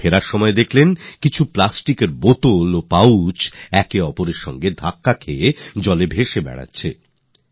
সমুদ্রে ভাসমান কিছু প্লাস্টিকের বোতল আর পাউচ তাদের গায়ের কাছে আসছিল